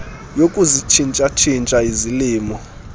yokuzitshintsha tshintsha izilimo